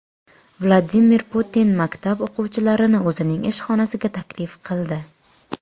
Vladimir Putin maktab o‘quvchilarini o‘zining ish xonasiga taklif qildi .